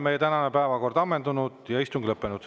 Meie tänane päevakord on ammendunud ja istung lõppenud.